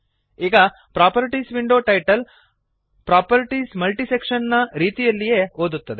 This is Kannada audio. ಈಗ properties window title properties multiselection ನ ರೀತಿಯಲ್ಲೇ ಓದುತ್ತದೆ